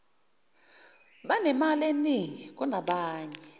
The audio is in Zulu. banemali eningi kunabanye